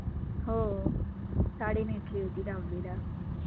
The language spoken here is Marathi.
हो साडी नेसली होती दहावीला